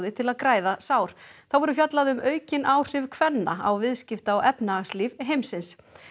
til að græða sár þá verður fjallað um aukin áhrif kvenna á viðskipta og efnahagslíf heimsins